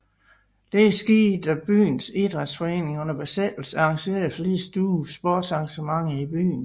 Dette skete da byens Idrætsforeninger under besættelsen arrangerede flere store sportsarrangementer i byen